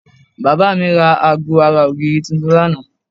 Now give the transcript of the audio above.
Bàbá mi ra aago ara ògiri tuntun lánàá